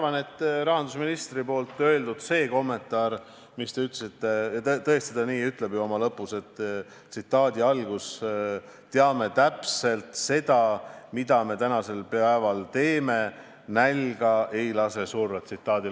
Mis puutub rahandusministri kommentaari, mis te tõite, siis tõesti nii ta lõpus ütleb: "Mis me nendega ikka teeme, teeme täpselt seda, mis me tänasel päeval teeme: nälga ei lase surra.